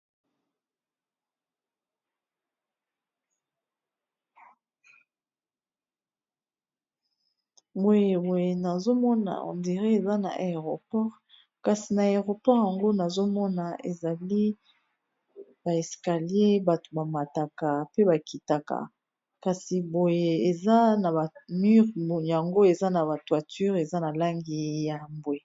moyeboye nazomona ondire eza na aéroport kasi na aéroport yango nazomona ezali baeskalier bato bamataka pe bakitaka kasi boye amure yango eza na batoiture eza na langi ya mbwe